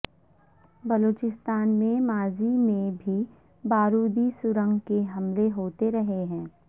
بلوچستان میں ماضی میں بھی بارودی سرنگ کے حملے ہوتے رہے ہیں